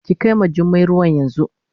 Ki kai ma Jummai ruwan yanzu.